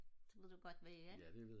det ved du godt hvad er